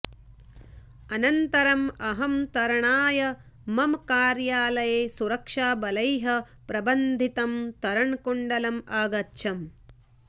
अनन्तरम् अहं तरणाय मम कार्यालये सुरक्षाबलैः प्रबन्धितं तरणकुण्डम् अगच्छम्